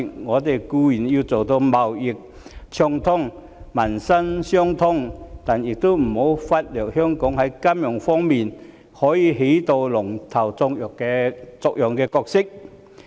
我們固然要達到貿易暢通和民心相通，但也不要忽略香港在金融方面可以起龍頭作用的角色。